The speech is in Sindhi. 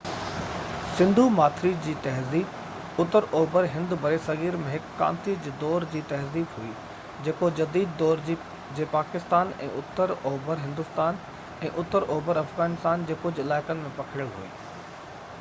سنڌو ماٿري جي تهذيب اتر اوڀر هند برصغير ۾ هڪ ڪانسي جي دور جي تهذيب هئي جيڪو جديد دور جي پاڪستان ۽ اتر اوڀر هندوستان ۽ اتر اوڀر افغانستان جي ڪجهہ علائقن ۾ پکڙيل هئي